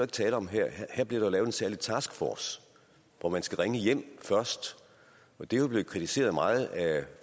tale om her her bliver der lavet en særlig taskforce hvor man skal ringe hjem først og det er jo blevet kritiseret meget af